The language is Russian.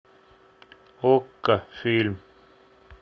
окко фильм